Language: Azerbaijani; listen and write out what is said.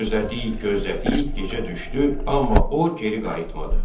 Gözlədik, gözlədik, gecə düşdü, amma o geri qayıtmadı.